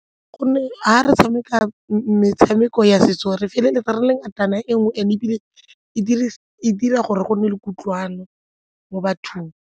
Go nne ga re tshameka metshameko ya setso re feleletsa re le ngatana e le nngwe ebile e dira gore gonne le kutlwano mo bathong.